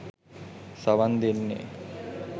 සවන් දෙන්නේ